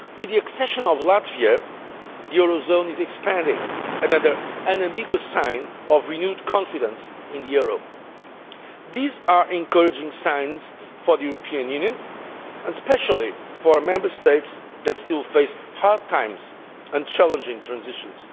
With the accession of Latvia, the eurozone is expanding another unambiguous sign of renewed confidence in the euro. These are encouraging signs for the European Union and especially for Member States that still face hard times and challenging transitions.